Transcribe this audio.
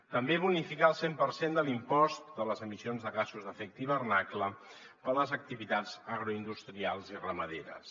també bonificar el cent per cent de l’impost de les emissions de gasos d’efecte hivernacle per a les activitats agroindustrials i ramaderes